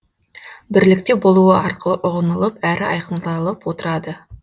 бірлікте болуы арқылы ұғынылып әрі айқындалып отырады